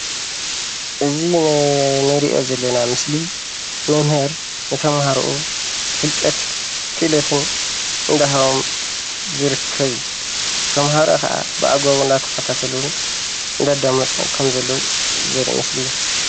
እዚ እንሪኦ ዘለና ምስሊ መምህር ንተምሃርኡ ፍልጠት፣ ክእለትን እንዳሃቦም ዝርከብ እዩ፣ ተምሃሮ ከዓ ብኣግባቡ እናተከታተሉን እንዳኣዳመፁን ከም ዘለው ዘርኢ ምስሊ እዩ፡፡